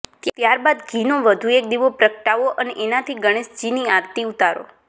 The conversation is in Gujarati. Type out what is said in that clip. ત્યારબાદ ઘી નો વધુ એક દીવો પ્રગટાવો અને એનાથી ગણેશજીની આરતી ઉતારો